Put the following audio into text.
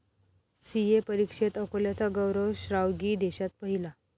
CA परीक्षेत अकोल्याचा गौरव श्रावगी देशात पहिला